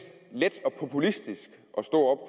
let og populistisk at stå